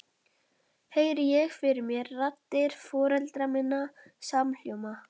Heyri ég fyrir mér raddir foreldra minna samhljóma.